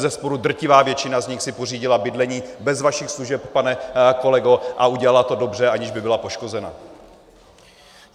Bezesporu drtivá většina z nich si pořídila bydlení bez vašich služeb, pane kolego, a udělala to dobře, aniž by byla poškozena.